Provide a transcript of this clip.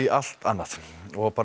allt öðru og